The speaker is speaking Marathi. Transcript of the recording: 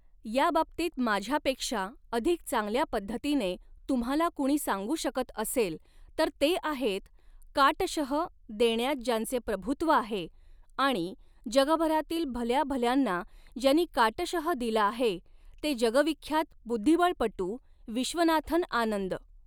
याबाबतीत माझ्यापेक्षा अधिक चांगल्या पध्दतीने तुम्हाला कुणी सांगू शकत असेल तर ते आहेत, काटशह, देण्यात ज्यांचे प्रभूत्व आहे आणि जगभरातील भल्या भल्यांना ज्यांनी काटशह दिला आहे ते जगविख्यात बुध्दीबळपटू विश्वनाथन् आनंद.